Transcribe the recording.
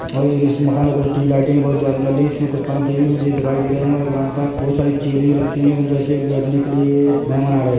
और इस मकान में कुछ टीयू लाइटे भी बहुत ज्यादा जल रही हैं इसमें कुछ पंखे भी मुझे दिखाई दे रहे है और यहाँ पर बहुत सारी चैनिंग रखी हुई है जैसे बैठने के लिए मेहमान आ रहे हैं।